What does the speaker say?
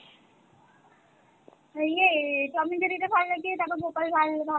এই ইয়ে tom & jerry তা ভালো লাগে তারপর গোপাল ভাঁড়